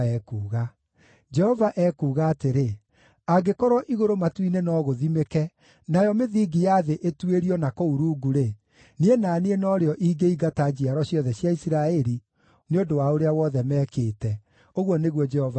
Jehova ekuuga atĩrĩ: “Angĩkorwo igũrũ matu-inĩ no gũthimĩke, nayo mĩthingi ya thĩ ĩtuĩrio na kũu rungu-rĩ, niĩ na niĩ no rĩo ingĩingata njiaro ciothe cia Isiraeli nĩ ũndũ wa ũrĩa wothe mekĩte,” ũguo nĩguo Jehova ekuuga.